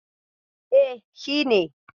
E, shi ne.